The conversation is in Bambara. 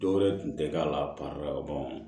Dɔw wɛrɛ tun tɛ k'a la